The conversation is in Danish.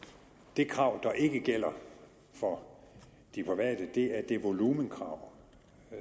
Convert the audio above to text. det krav der ikke gælder for de private er det volumenkrav